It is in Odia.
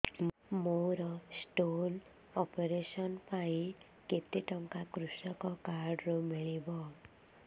ମୋର ସ୍ଟୋନ୍ ଅପେରସନ ପାଇଁ କେତେ ଟଙ୍କା କୃଷକ କାର୍ଡ ରୁ ମିଳିବ